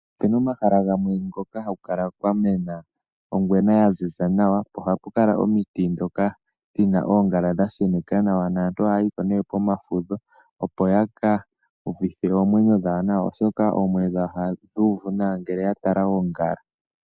Opena omahala gamwe hoka haku kala kwa mena ongwena ya ziza nawa po ohapu kala omiti ndhoka dhina oongala dha sheneka nawa naantu ohaya yipo nee pomafudho opo yaka uvithe oomwenyo dhawo nawa oshoka oomwenyo dhawo ohadhi uvu nawa ngele ya tala oongala.